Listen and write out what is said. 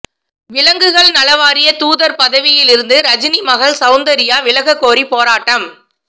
விலங்குகள் நல வாரிய தூதர் பதவியில் இருந்து ரஜினி மகள் செளந்தர்யா விலக கோரி போராட்டம்